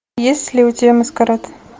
есть ли у тебя маскарад